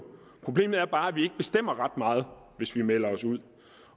problemet er bare at vi ikke bestemmer ret meget hvis vi melder os ud